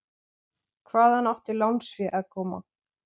Hvaðan átti lánsfé að koma?